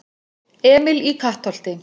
Emil í Kattholti